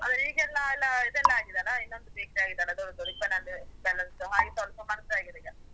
ಆದ್ರೆ ಈಗೆಲ್ಲ ಎಲ್ಲ ಇದೆಲ್ಲಾ ಆಗಿದೆಯಲ್ಲ ಇನ್ನೊಂದು ಬೇಕರಿ ಆಗಿದೆಯಲ್ಲ ದೊಡ್ಡದು, ರಿಬ್ಬನ್ ಅಂಡ್ ಬಲ್ಲೂನ್ಸ್ ದು ಹಾಗೆ ಸ್ವಲ್ಪ ಮರ್ಜಾಗಿದೆ ಈಗ.